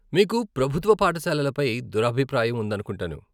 మీకు ప్రభుత్వ పాఠశాలల పై దురభిప్రాయం ఉందనుకుంటాను.